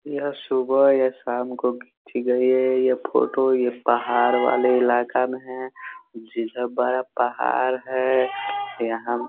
यह सुबह या शाम को खींची गयी है ये फोटो ये पहाड़ वाले इलाका में है जिधर बड़ा पहाड़ है यहाँ --